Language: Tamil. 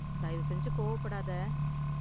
தயவு செஞ்சு கோவப்படாத.